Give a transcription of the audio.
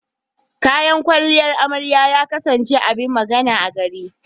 Kayan kwalliyar amarya ya kasance abin magana a gari.